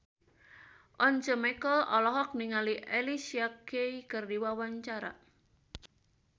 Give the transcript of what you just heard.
Once Mekel olohok ningali Alicia Keys keur diwawancara